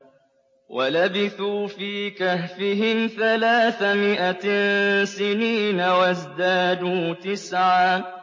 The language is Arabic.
وَلَبِثُوا فِي كَهْفِهِمْ ثَلَاثَ مِائَةٍ سِنِينَ وَازْدَادُوا تِسْعًا